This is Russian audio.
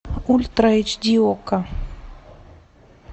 ультра эйч ди окко